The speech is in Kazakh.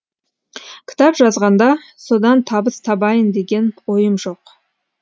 кітап жазғанда содан табыс табайын деген ойым жоқ